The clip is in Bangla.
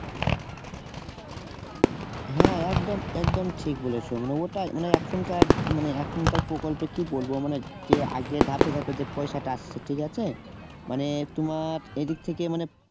হ্যাঁ একদম একদম ঠিক বলেছো মানে ওটাই মানে এখনকার প্রকল্পে কি বলবো মানে যে আগে ধাপে ধাপে যে পয়সাটা আসছে ঠিকআছে মানে তোমার এইদিক থেকে মানে